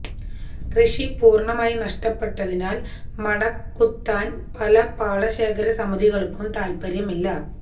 കൃഷി പൂര്ണമായി നഷ്ടപ്പെട്ടതിനാല് മട കുത്താന് പല പാടശേഖര സമിതികള്ക്കും താല്പര്യമില്ല